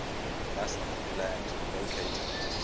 musth gland located